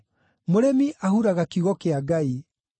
Mũrĩmi ahuraga kiugo kĩa Ngai.